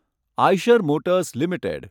Eicher motors limited